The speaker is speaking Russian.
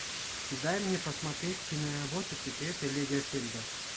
дай мне посмотреть киноработу секреты лагерфельда